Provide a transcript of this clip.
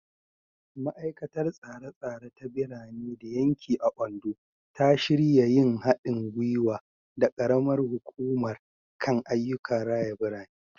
Ma’aikatar Tsare-tsare ta Birane da Yanki a Ondo ta shirya yin hadin gwiwa da karamar hukumar kan ayyukan raya birane.